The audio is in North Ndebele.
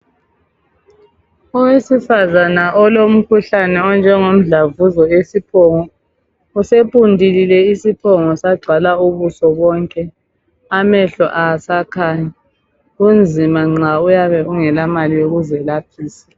Owesifazana olomkhuhlane onjengomdlavuzo esiphongo. Usepundulile isiphongo sagcwala ubuso bonke amehlo awasakhanyi. Kunzima nxa uyabe ungelamali yokuzelaphisa.